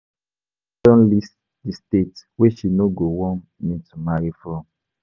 My mama Don list the state wey she no go want me to marry from.